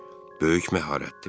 Böyük məharətdir.